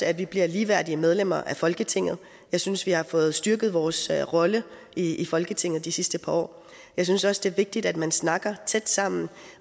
at vi bliver ligeværdige medlemmer af folketinget jeg synes vi har fået styrket vores rolle i i folketinget de sidste par år jeg synes også det er vigtigt at man snakker og er tæt sammen